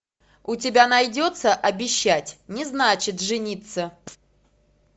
у тебя найдется обещать не значит жениться